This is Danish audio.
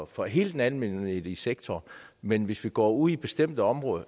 for hele den almennyttige sektor men hvis vi går ud i bestemte områder